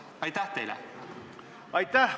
Aitäh!